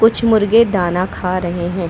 कुछ मुर्गे दाना खा रहे है।